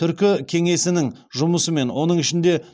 түркі кеңесінің жұмысымен оның ішінде